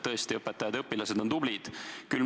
Tõesti, õpetajad ja õpilased on tublid.